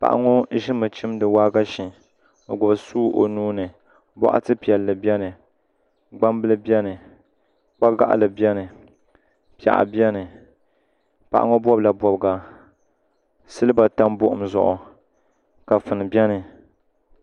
Paɣa ŋo ʒimi chimdi waagashe o gbubi suu o nuuni boɣati piɛli bɛni gbambili bɛni kpa gaɣali bɛni piɛɣu bɛni paɣa ŋo bobla bobga silba tam buɣum zuɣu kafuni bɛni